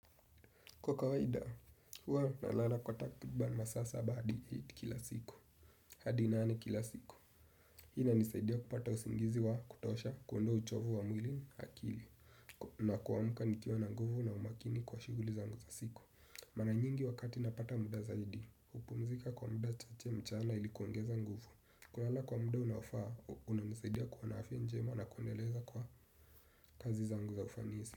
Kwa kawaida, huwa nalala kwa takribani masaa saba hadi eight kila siku. Hadi nane kila siku. Hii inanisaidia kupata usingizi wa kutosha, kuondoa uchovu wa mwili na akili. Na kuamka nikiwa na nguvu na umakini kwa shughuli zangu za siku. Mara nyingi wakati napata muda zaidi, hupumzika kwa muda chache mchana ili kuongeza nguvu. Kulala kwa muda unaofaa unanisaidia kuwa na afya njema na kuendeleza kwa kazi zangu za ufanisi.